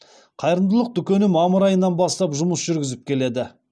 қайырымдылық дүкені мамыр айынан бастап жұмыс жүргізіп келеді